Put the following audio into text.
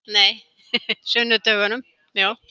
sunnudögunum